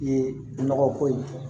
Ye nɔgɔ ko ye